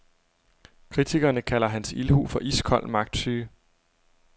Kritikerne kalder hans ildhu for iskold magtsyge.